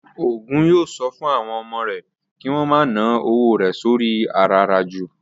Ògún yóò sọ fún àwọn ọmọ rẹ̀ kí wón ma ná owó rẹ̀ sóri i àràràjù